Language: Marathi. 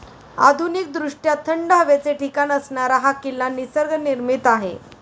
आधुनिकदृष्ट्या थंड हवेचे ठिकाण असणारा हा किल्ला निसर्गनिर्मित आहे.